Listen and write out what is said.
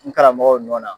N karamɔgɔw nɔ na